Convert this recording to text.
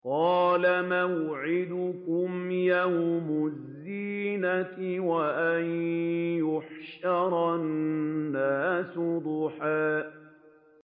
قَالَ مَوْعِدُكُمْ يَوْمُ الزِّينَةِ وَأَن يُحْشَرَ النَّاسُ ضُحًى